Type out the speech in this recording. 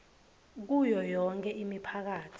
kuyo yonkhe imiphakatsi